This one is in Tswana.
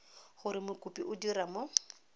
gore mokopi o dira mo